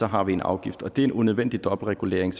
har en afgift det er en unødvendig dobbeltregulering